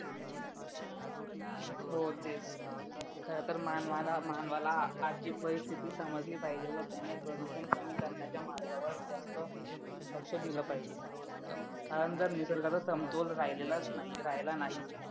हो तेच खरं तर मानवाला मानवाला आजची परिस्थिती समजली पाहिजे व त्याने प्रदूषण कमी करण्याचे मार्गावर जास्त लक्ष दिलं पाहिजे कारण जर निसर्गाचं संतुलन राहिला नाही तर